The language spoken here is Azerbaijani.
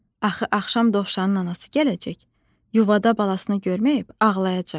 "Axı axşam dovşanın anası gələcək, yuvada balasını görməyib ağlayacaq."